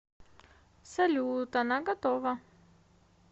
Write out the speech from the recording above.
салют она готова